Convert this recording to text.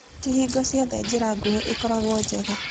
Ti hingo ciothe njĩra nguhĩ ĩkoragwo njega.